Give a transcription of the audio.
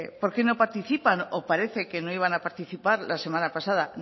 por qué no participan o parece que no iban a participar la semana pasada